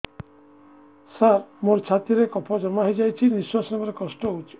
ସାର ମୋର ଛାତି ରେ କଫ ଜମା ହେଇଯାଇଛି ନିଶ୍ୱାସ ନେବାରେ କଷ୍ଟ ହଉଛି